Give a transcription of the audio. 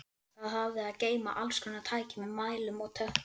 Það hafði að geyma allskonar tæki með mælum og tökkum.